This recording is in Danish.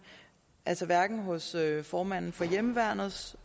hverken hos formanden for hjemmeværnets